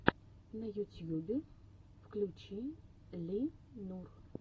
на ютьюбе включи ли нур